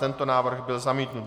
Tento návrh byl zamítnut.